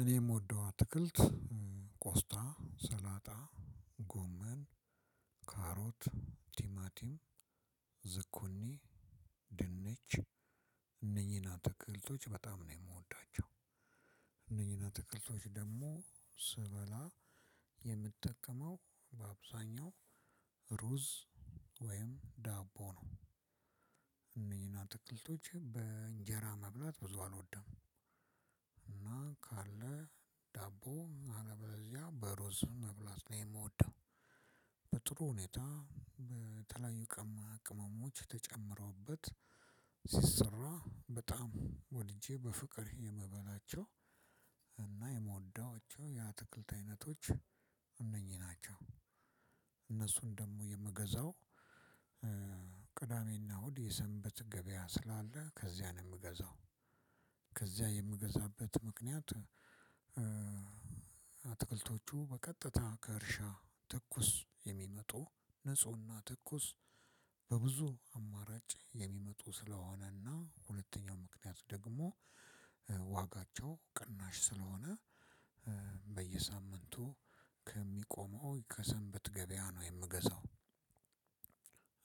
እኔም ምወደው አትክልት ቆስጣ፣ ሰላጣ፣ ጎመን፣ ካሮት፣ ቲማቲም፣ ዝኩኒ፣ ድንች እነኚህን አትክልቶች በጣም ነው የምወዳቸው። እነኚህን አትክልቶች ደግሞ ስበላ የምትጠቀመው በአብዛኛው ሩዝ ወይም ዳቦ ነው። አትክልቶች በእንጀራ መብላት ብዙ አልወድም። እና ካለ ዳቦ አለበለዚያ በሩዝ መብላት ነው የምወደው። በጥሩ ሁኔታ በተለያዩ ቅመማ ቅመሞች ተጨምሮበት ሲሰራ በጣም ወድጄ በፍቅር የምበላቸው። እና የምወዳቸው የአትክልት አይነቶች እነኚህ ናቸው። እነሱን ደግሞ የምገዛው ቅዳሜና እሁድ የሰንበት ገበያ ስላለ ከዚያ ነው የምገዛው። ከዚያ የምገዛበት ምክንያት አትክልቶቹ በቀጥታ ከእርሻ ትኩስ የሚመጡ ንፁህና ተኩስ በብዙ አማራጭ የሚመጡ ስለሆነና ሁለተኛው ምክንያት ደግሞ ዋጋቸው ቅናሽ ስለሆነ በየሳምንቱ ከሰንበት ገበያ ነው የምገዛው።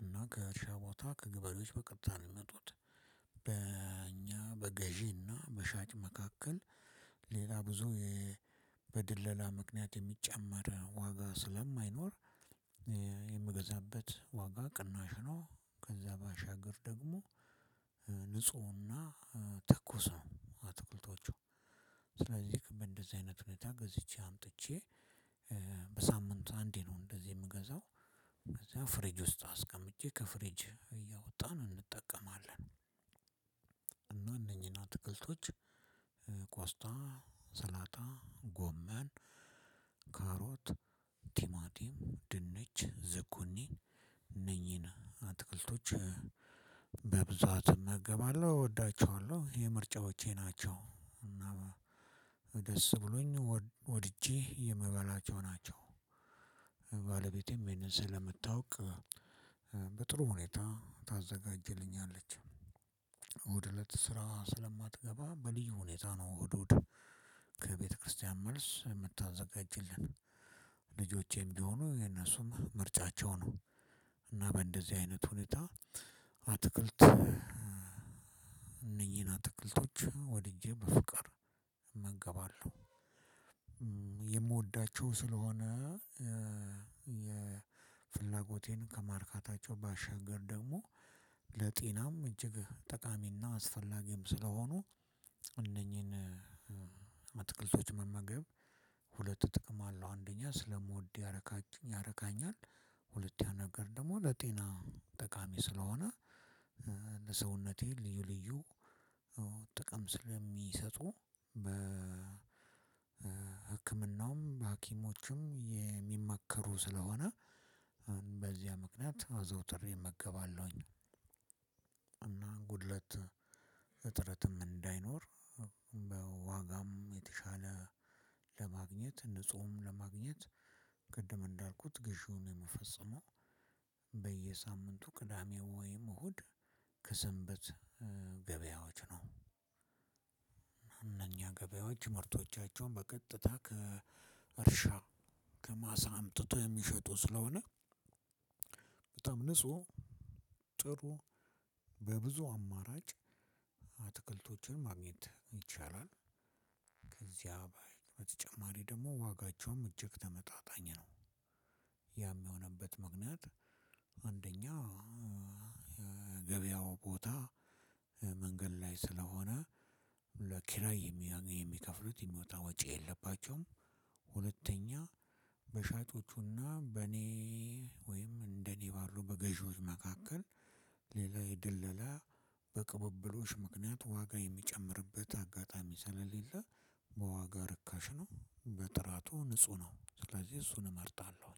እና ከእርሻ ቦታ ከገበሬዎች በቀጥታ ነው የሚመጡት። በእኛ በገዢና በሻጭ መካከል ሌላ ብዙ በድለላ ምክንያት የሚጨመር ዋጋ ስለማይኖር የምገዛበት ዋጋ ቅናሽ ነው። ከዛ ባሻገር ደግሞ ንፁህና ትኩስ ነው። አትክልቶቹ ስለዚህ በእንደዚህ አይነት ሁኔታ ገዝቼ አምጥቼ በሳምንቱ አንዴ ነው እንደዚህ የምገዛው። ከዛ ፍሬጅ ውስጥ አስቀምጬ ከፍሬጅ እያወጣን እንጠቀማለን። እና እነኚህን አትክልቶች ቆስጣ፣ ሰላጣ፣ ጎማን፣ ካሮት፣ ቲማቲም፣ ድንች፣ ዝኩኒ እነኚህን አትክልቶች በብዛት እመገባለሁ፣ እወዳቸዋለሁ፣ የኔ ምርጫዎቼ ናቸው። እና ደስ ብሎኝ ወድጄ የምበላቸው ናቸው። ባለቤቴም ይሄን ስለምታውቅ በጥሩ ሁኔታ ታዘጋጅልኛለች። እሁድ እለት ስራ ስለማትገባ በልዩ ሁኔታ እሁድ እሁድ ከቤተክርስቲያን መልስ የምታዘጋጅልን። ልጆቼም ቢሆኑ የነሱም ምርጫቸው ነው። እና በእንደዚህ አይነት ሁኔታ አትክልት እነኚህን አትክልቶች ወድጄ በፍቅር እመገባለሁ። የምወዳቸው ስለሆነ የፍላጎቴን ከማርካታቸው ባሻገር ደግሞ ለጤናም እጅግ ጠቃሚና አስፈላጊም ስለሆኑ እነኚህን አትክልቶች መመገብ ሁለት ጥቅም አለው። አንደኛ ስለምወድ ያረካች ያረካኛል። ሁለኛ ነገር ደግሞ ለጤና ጠቃሚ ስለሆነ ለሰውነቴ ልዩ ልዩ ጥቅም ስለሚሰጡ በህክምናውም በሀኪሞችም የሚመከሩ ስለሆነ በዚያ ምክንያት አዘውትሬ እመገባለሁኝ። ጉድለት እጥረትም እንዳይኖር፣ በዋጋም የተሻለ ለማግኘት፣ ንጹህም ለማግኘት፣ ቅድም እንዳልኩት ግዢውን የምፈጽመው በየሳምንቱ ቅዳሜ ወይም እሁድ ከሰንበት ገበያዎች ነው። እነኛ ገበያዎች ምርቶቻቸውን በቀጥታ ከእርሻ ከማሳ አምጥቶ የሚሸጡ ስለሆነ በጣም ንጹህ ጥሩ በብዙ አማራጭ አትክልቶችን ማግኘት ይቻላል። ከዚያ በተጨማሪ ደግሞ ዋጋቸውም እጅግ ተመጣጣኝ ነው። ያም የሆነበት ምክንያት አንደኛ ገበያው ቦታ መንገድ ላይ ስለሆነ ለኪራይ የሚከፍሉት የሚወጣ ወጪ የለባቸውም። ሁለተኛ በሻጮቹና በእኔ ወይም እንደኔ ባሉ በገዢዎች መካከል ሌላ የድለላ በቅብብሎሽ ምክንያት ዋጋ የሚጨምርበት አጋጣሚ ስለሌለ በዋጋ ርካሽ ነው፣ በጥራቱ ንጹህ ነው። ስለዚህ እሱን እመርጣለሁ።